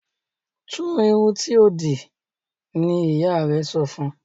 Tu irun tíó dì ní ìyá rẹ sọfún!